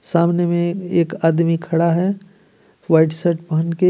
सामने में ए एक आदमी खड़ा है व्हाइट शर्ट पहन के.